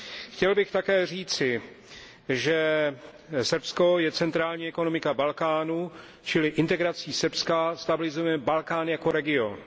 Chtěl bych také říci, že Srbsko je centrální ekonomika Balkánu, čili integrací Srbska stabilizujeme Balkán jako region.